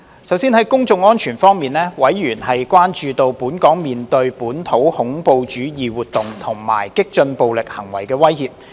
首先，在公眾安全方面，委員關注到，本港面對本土恐怖主義活動和激進暴力行為的威脅。